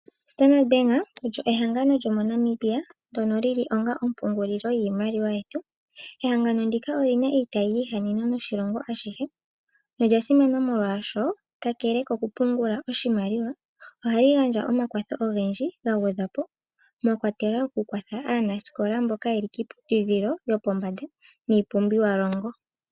Standard Bank olyo ehangano lyomoNamibia ndjoka lyili onga ompungulilo yiimaliwa yetu. Ehangano ndika olyi na iitayi yiihahanena noshilongo ashike olya simana molwashoka kakele kokupungula oshimaliwa ohayi gandja omakwatho ogendji ga gwedhwa po mwa kwatelwa okukwathela aanasikola mboka ye li kiiputudhilo yopombanda niipumbiwalongo.